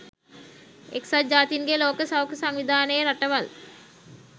එක්සත් ජාතීන්ගේ ලෝක සෞඛ්‍ය සංවිධානයේ රටවල්